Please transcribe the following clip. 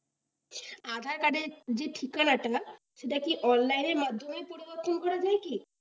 adhaar card র যে ঠিকানা টা সেটা কি online এর মাধ্যমে পরিবর্তন করা যায় কি?